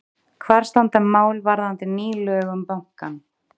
Hvar standa mál varðandi ný lög um bankann?